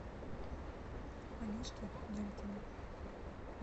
олежки демкина